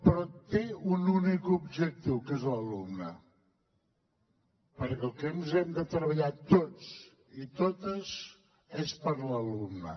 però té un únic objectiu que és l’alumne perquè pel que hem de treballar tots i totes és per l’alumne